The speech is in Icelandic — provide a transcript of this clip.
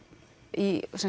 í